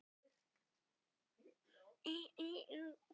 Þetta voru orð Ólafs en ekki mín.